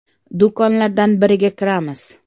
Do‘konlardan biriga kiramiz.